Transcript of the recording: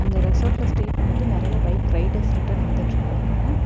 இந்த ரெஸ்டார்ட்ல ஸ்டே பண்ணிட்டு நெறைய பைக் ரைடர்ஸ் ரிட்டன் வந்துட்ருக்காங்க.